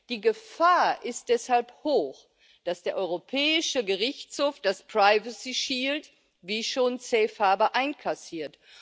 Die Gefahr ist deshalb hoch, dass der Europäische Gerichtshof das Privacy Shield wie schon Safe Harbour einkassiert.